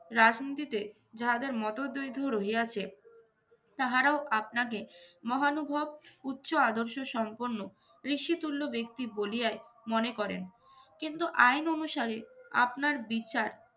রাজনীতিতে যাহাদের মতদৈধ রহিয়াছে তাহারাও আপনাকে মহানুভব উচ্চ আদর্শসম্পন্ন, ঋষিতুল্য ব্যক্তি বলিয়াই মনে করেন। কিন্তু আইন অনুসারে আপনার বিচার